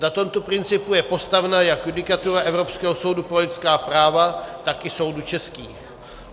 Na tomto principu je postavena jak judikatura Evropského soudu pro lidská práva, tak i soudů českých.